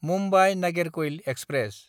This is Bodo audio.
मुम्बाइ–नागेरकयल एक्सप्रेस